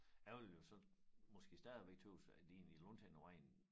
Jeg vil jo så måske stadigvæk tøs at de egentlig langt hen ad vejen